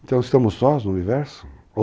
Então estamos sós no universo?